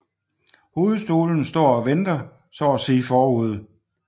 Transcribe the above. Hovedstolen står og venter så at sige forude